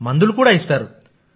మందులు కూడా ఇస్తారు